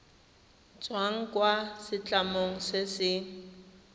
tswang kwa setlamong se se